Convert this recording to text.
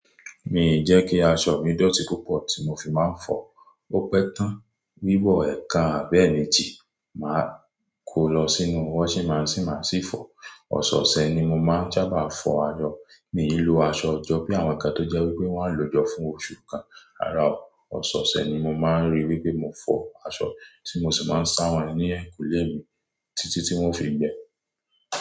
Mi ì jẹ́ kí aṣọ mi dọ̀tí púpọ̀ tí mo fi máa ń fọ̀, ó pẹ́ tán, wíwọ ẹ̀ẹ̀kan àbí eméjì, màá kó lọ sínú washing machine máa sì fọ̀. Ọ̀sẹ̀ ọ̀sẹ̀ ni mo máa ń sábà fọ aṣọ. Mi lo aṣọ jọ, bí àwọn kan tó jẹ́wípé wọn á lò jọ fún oṣù kan. Rárá o ososee ni mo ma ń rí pé mo fọ aṣọ, tí mo sì man sá wọn ní ẹ̀yìnkùlé mi títí wọn ó fi gbẹ.